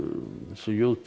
j p